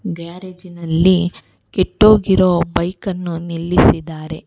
ಗ್ಯಾರೇಜಿನಲ್ಲಿ ಕೆಟ್ಟೋಗಿರೋ ಬೈಕನ್ನು ನಿಲ್ಲಿಸಿದ್ದಾರೆ.